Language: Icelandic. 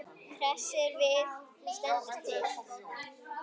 Hersir, hvað stendur til?